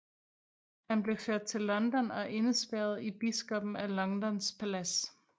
Han blev ført til London og indespærret i biskoppen af Londons palads